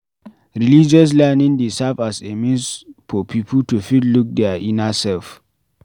Religious learning dey serve as a means for pipo to fit look their inner self